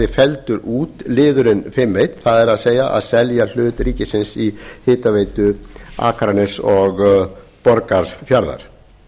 felldur út liðurinn fimm eitt það er að selja hlut ríkisins í hitaveitu akraness og borgarfjarðar